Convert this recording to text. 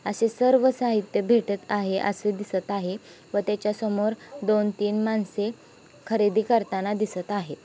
असे सर्व साहित्य भेटत आहे असे दिसत आहे व त्याच्यासमोर दोन तीन माणसे खरेदी करताना दिसत आहे.